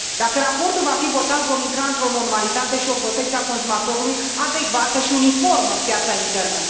Dacă raportul va fi votat, vom intra într o normalitate și o protecție a consumatorului adecvată și uniformă în piața internă.